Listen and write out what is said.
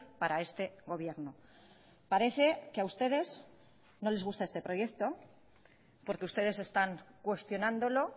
para este gobierno parece que a ustedes no les gusta este proyecto porque ustedes están cuestionándolo